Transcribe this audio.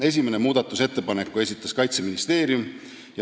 Esimese muudatusettepaneku esitas Kaitseministeerium.